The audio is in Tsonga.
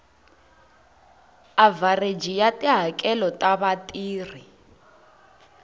avhareji ya tihakelo ta vatirhi